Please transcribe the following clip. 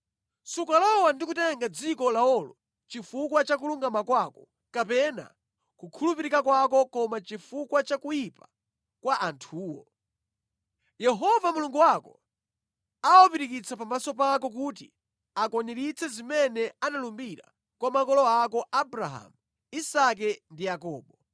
Sukalowa ndi kutenga dziko lawolo chifukwa cha kulungama kwako kapena kukhulupirika kwako koma chifukwa cha kuyipa kwa anthuwo. Yehova Mulungu wako awapirikitsa pamaso pako kuti akwaniritse zimene analumbira kwa makolo ako Abrahamu, Isake ndi Yakobo.